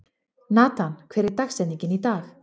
Natan, hver er dagsetningin í dag?